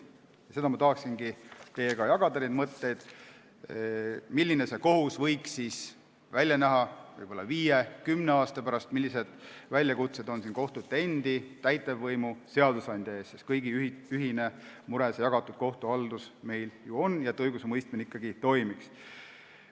Neid mõtteid ma tahaksingi teiega jagada, milline võiks kohus välja näha viie või kümne aasta pärast, millised probleemid on kohtute endi, täitevvõimu ja seadusandja ees, sest kõigi ühine mure see jagatud kohtuhaldus meil ju on, ja see, et õigusemõistmine ikkagi toimiks.